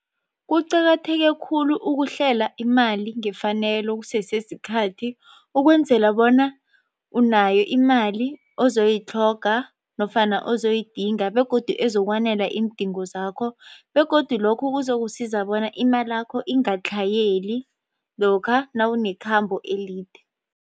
Kuqakatheke khulu ukuhlela imali ngefanelo kusese sikhathi ukwenzela bona unayo imali ozoyitlhoga nofana ozoyidinga begodu ezokwanela iindingo zakho begodu lokho kuzokusiza bona imalakho ingatlhayeli lokha nawunekhambo elide.